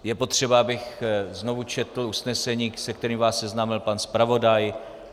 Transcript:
Je potřeba, abych znovu četl usnesení, se kterým vás seznámil pan zpravodaj?